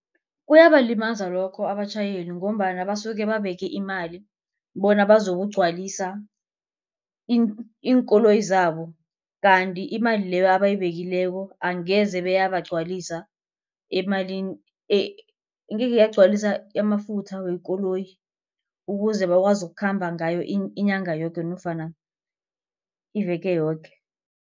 Kuyabalimaza lokho abatjhayeli ngombana basuke babeke imali bona bazokugcwalisa iinkoloyi zabo. Kanti imali leyo abayibekileko angeze beyabagcwalisa emalini angekhe yagcwalisa amafutha wekoloyi ukuze bakwazi ukukhamba ngayo inyanga yoke nofana iveke yoke.